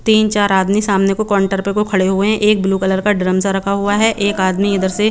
तीन चार आदमी सामने को काउंटर पर खड़े हुए है एक ब्लू कलर का ड्रम सा रखा हुआ है एक आदमी इधर से--